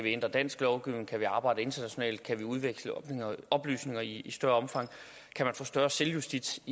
ændre dansk lovgivning kan man arbejde internationalt kan man udveksle oplysninger i større omfang kan man få større selvjustits